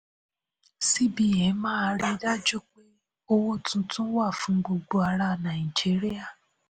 cbn máa ríi dájú pé owó tuntun wà fún gbogbo ará nàìjíríà.